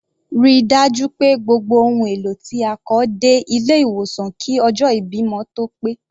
Ríi dájú pé gbogbo ohùn èlò tí a kọ dé ilé ìwòsan kí ọjọ́ ìbímọ tó pé.